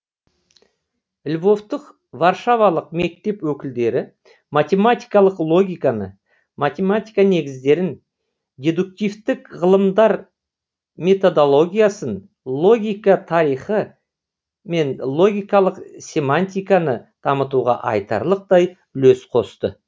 львовтық варшавалық мектеп өкілдері математикалық логиканы математика негіздерін дедуктивтік ғылымдар методологиясын логика тарихы мен логикалық семантиканы дамытуға айтарлықтай үлес қосты